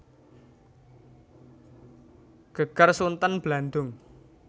Geger Sunten Blandung